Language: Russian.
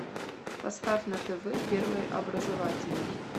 поставь на тв первый образовательный